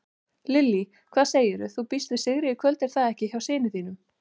Lillý: Hvað segirðu, þú býst við sigri í kvöld er það ekki hjá þínum syni?